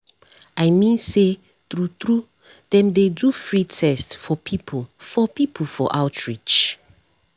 i mean say true true dem dey do free test for people for people for outreach.